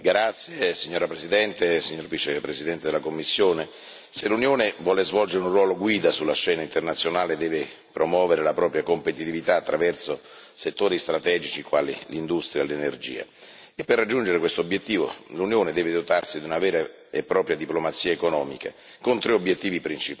Signora Presidente, onorevoli colleghi, signor Vicepresidente della Commissione, se l'Unione vuole svolgere un ruolo guida sulla scena internazionale, deve promuovere la propria competitività attraverso settori strategici quali l'industria e l'energia. Per raggiungere questo obiettivo, l'Unione deve dotarsi di una vera e propria diplomazia economica con tre obiettivi principali.